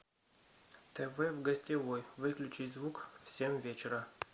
тв в гостевой выключить звук в семь вечера